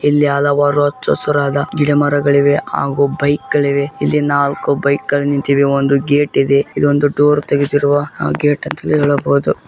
ಇಲ್ಲಿ ಅಲವಾರು ಎಚ್ಚು ಅಸುರಾದ ಗಿಡ-ಮರಗಳಿವೆ ಹಾಗೂ ಬೈಕ್ ಗಳಿವೆ ಇಲ್ಲಿ ನಾಲ್ಕು ಬೈಕ್ ಗಳು ನಿಂತಿವೆ ಒಂದು ಗೇಟ್ ಇದೆ. ಇದೊಂದು ಡೋರ್ ತೆಗೆದಿರುವ ಗೇಟ್ ಅಂತ ಹೇಳಬಹುದು.